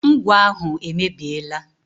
Ngwọ ahụ emebiela.